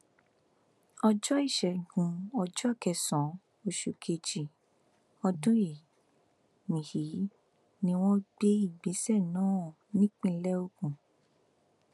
ọjọ ìṣẹgun ọjọ kẹsànán oṣù kejì ọdún yìí ni yìí ni wọn gbé ìgbésẹ náà nípínlẹ ogun